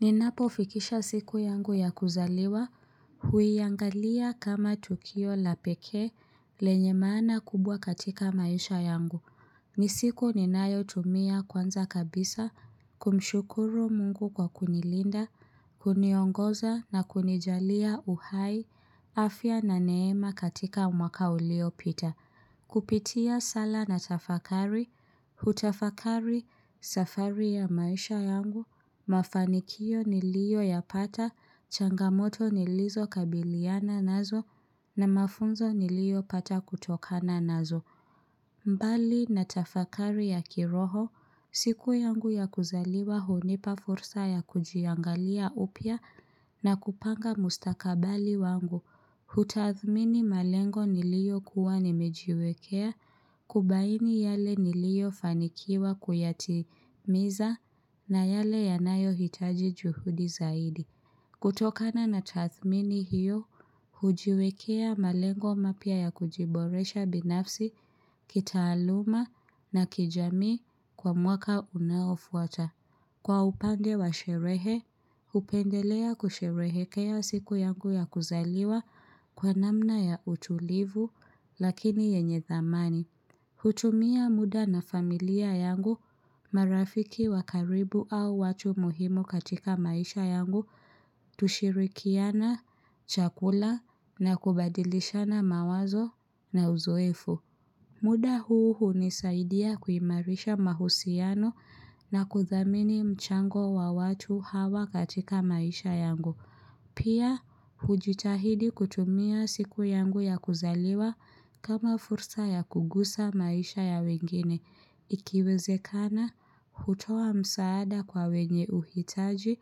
Ninapofikisha siku yangu ya kuzaliwa, huiangalia kama tukio la pekee. Lenye maana kubwa katika maisha yangu, ni siku ninayotumia kwanza kabisa, kumshukuru mungu kwa kunilinda, kuniongoza na kunijalia uhai, afya na neema katika mwaka uliopita. Kupitia sala natafakari, hutafakari safari ya maisha yangu, mafanikio niliyoyapata, changamoto nilizokabiliana nazo na mafunzo niliyopata kutokana nazo. Mbali natafakari ya kiroho, siku yangu ya kuzaliwa hunipa fursa ya kujiangalia upya na kupanga mustakabali wangu. Hutathmini malengo niliyokuwa nimejiwekea, kubaini yale niliyofanikiwa kuyatimiza na yale yanayohitaji juhudi zaidi. Kutokana na tathmini hiyo, hujiwekea malengo mapya ya kujiboresha binafsi, kitaaluma na kijamii kwa mwaka unaofuata. Kwa upande wa sherehe, hupendelea kusherehekea siku yangu ya kuzaliwa kwa namna ya utulivu lakini yenye thamani. Hutumia muda na familia yangu, marafiki wa karibu au watu muhimu katika maisha yangu, tushirikiane, chakula na kubadilishana mawazo na uzoefu. Muda huu hunisaidia kuimarisha mahusiano na kuthamini mchango wa watu hawa katika maisha yangu. Pia, hujitahidi kutumia siku yangu ya kuzaliwa kama fursa ya kugusa maisha ya wengine. Ikiwezekana, hutoa msaada kwa wenye uhitaji,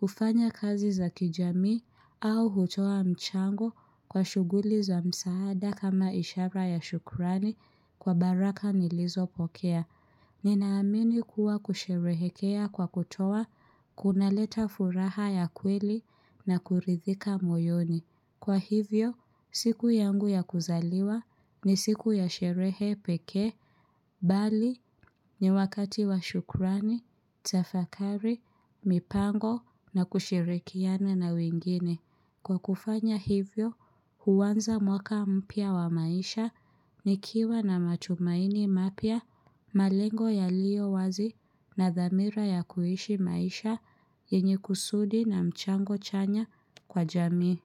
hufanya kazi za kijamii, au hutoa mchango kwa shughuli za msaada kama ishara ya shukrani kwa baraka nilizopokea. Ninaamini kuwa kusherehekea kwa kutoa, kunaleta furaha ya kweli na kuridhika moyoni. Kwa hivyo, siku yangu ya kuzaliwa ni siku ya sherehe pekee, bali ni wakati wa shukrani, tafakari, mipango na kushirikiana na wengine. Kwa kufanya hivyo, huanza mwaka mpya wa maisha, nikiwa na matumaini mapya, malengo yaliyo wazi na dhamira ya kuishi maisha yenye kusudi na mchango chanya kwa jamii.